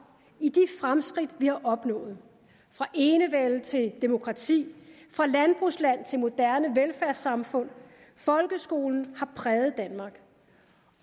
i de fremskridt vi har opnået fra enevælde til demokrati fra landbrugsland til moderne velfærdssamfund folkeskolen har præget danmark